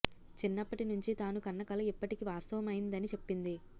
చిన్నప్పటి నుంచి తాను కన్న కల ఇప్పటికి వాస్తవమైందని చెప్పింది